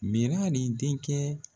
Mɛrali denkɛ